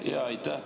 Aitäh!